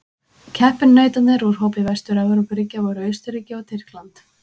Keppinautarnir úr hópi Vestur-Evrópuríkja voru Austurríki og Tyrkland.